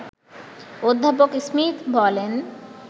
অধ্যাপক স্মিথ বলেন